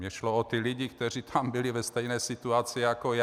Mně šlo o ty lidi, kteří tam byli ve stejné situaci jako já.